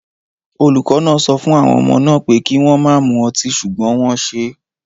Olùkọ́ náà sọ fún àwọn ọmọ náà pé kí wọ́n má mu ọtí ṣùgbọ́n wọ́n ṣe é